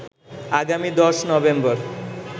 আগামী ১০ নভেম্বর